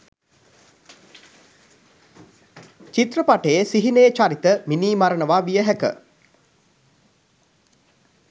චිත්‍රපටයේ සිහිනයේ චරිත මිනී මරනවා විය හැක.